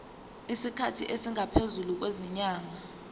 isikhathi esingaphezulu kwezinyanga